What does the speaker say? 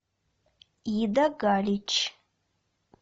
ида галич